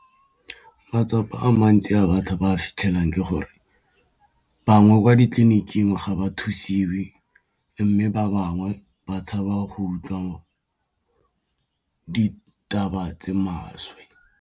Matsapa a mantsi a batho ba fitlhelang ke gore bangwe kwa ditleliniking ga ba thusiwe mme ba bangwe ba tshaba go utlwa ditaba tse maswe.